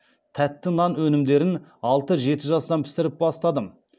тәтті нан өнімдерін алты жеті жастан пісіріп бастадым